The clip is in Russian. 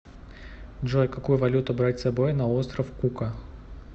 джой какую валюту брать с собой на остров кука